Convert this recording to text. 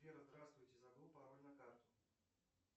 сбер здравствуйте забыл пароль на карту